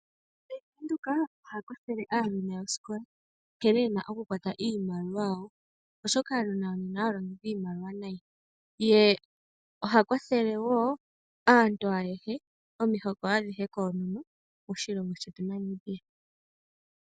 Bank Windhoek oha kwathele aanona yosikola nkene yena oku kwata nawa iimaliwa yawo, oshoka aanona ohaya longitha iimaliwa nayi, ye oha kwathele wo aantu ayehe, omihoko adhihe koonono moshilongo shetu Namibia.